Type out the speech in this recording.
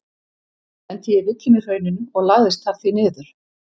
Lenti ég í villum í hrauninu og lagðist þar því niður.